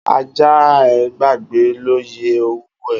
Aja e e gbagbe l' oiye owuo.